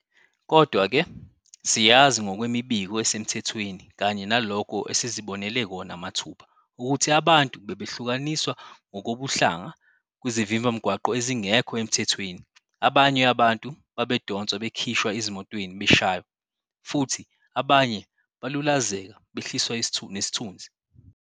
Kodwa-ke siyazi ngokwemibiko esemthethweni kanye nalokho esizibonele kona mathupha ukuthi abantu bebehlukaniswa ngokobuhlanga kwizivimbamgwaqo ezingekho emthethweni, abanye abantu babedonswa bekhishwa ezimotweni beshaywa, futhi abanye balulazeka behliswa nesithunzi.